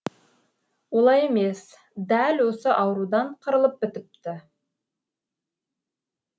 олай емес дәл осы аурудан қырылып бітіпті